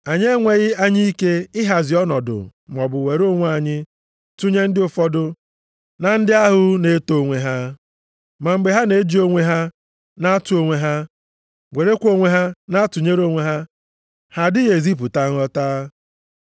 Anyị enweghị anya ike ihazi ọnọdụ maọbụ were onwe anyị tụnyere ndị ụfọdụ na ndị ahụ nʼeto onwe ha. Ma mgbe ha na-eji onwe ha na-atụ onwe ha, werekwa onwe ha na-atụnyere onwe ha, ha adịghị ezipụta nghọta.